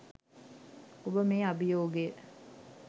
ඔබ මේ අභියෝගය